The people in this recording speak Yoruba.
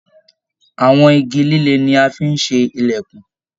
Àwọn igi líle ní a fí n ṣe ilẹkùn.